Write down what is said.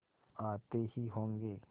आते ही होंगे